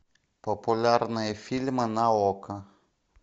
популярные фильмы на окко